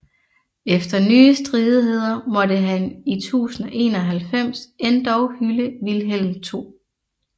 Efter nye stridigheder måtte han i 1091 endog hylde Vilhelm 2